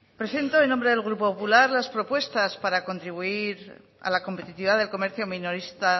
presento en nombre del grupo popular las propuestas para contribuir a la competitividad del comercio minorista